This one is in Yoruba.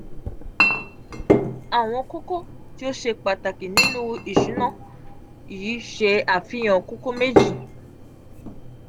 awon koko ti o se pataki ninu isuna yi se afihan koko meji.